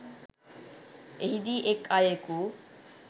එහිදී එක් අයෙකු